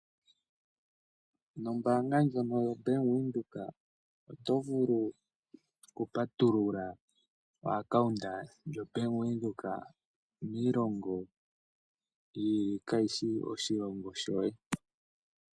Nombaanga ndjono yoBank Windhoek oto vulu okupatulula omayalulo gombaanga noBank Windhoek miilongo yi ili kaa shi shi moshilongo shoye.